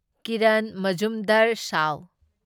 Kiran Mazumdar Shaw